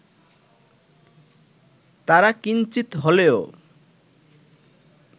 তারা কিঞ্চিৎ হলেও